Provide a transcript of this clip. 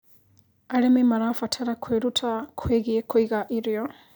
Arĩmĩ marabatara kwĩrũta kwĩgĩe kũĩga ĩrĩo